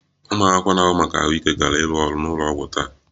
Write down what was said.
Ụmụ akwụkwọ na-ahụ maka ahụike ga-arụ ọrụ n'ụlọ ọgwụ taa